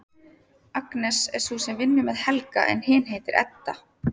Agnes er sú sem vinnur með Helga en hin heitir Edda.